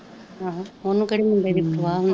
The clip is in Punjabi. ਅਹ ਓਨੁ ਕੇਹੜੀ ਮੁੰਡੇ ਦੀ ਪਰਵਾ ਹੁੰਦੀ,